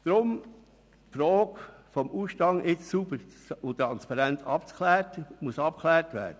Deshalb muss die Frage des Ausstandes jetzt sauber und transparent geklärt werden.